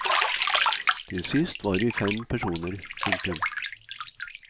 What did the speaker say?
Til sist var vi fem personer. punktum